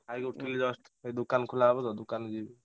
ଖାଇକି ଉଠିଲି just ଏବେ ଦୋକାନ ଖୋଲା ହେବ ତ ଦୋକାନ କୁ ଯିବି।